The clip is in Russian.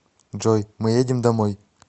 джой мы едем домой